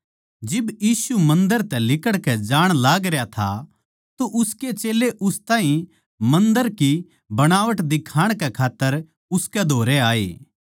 जिब यीशु मन्दर तै लिकड़कै जाण लागरया था तो उसके चेल्लें उस ताहीं मन्दर की बणावट दिखाण कै खात्तर उसकै धोरै आये